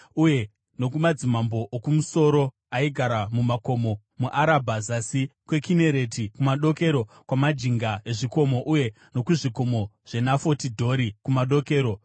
uye nokumadzimambo okumusoro aigara mumakomo, muArabha zasi kweKinereti, kumadokero kwamajinga ezvikomo uye nokuzvikomo zveNafoti Dhori kumadokero;